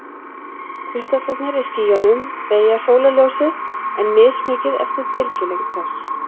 Kristallarnir í skýjunum beygja sólarljósið, en mismikið eftir bylgjulengd þess.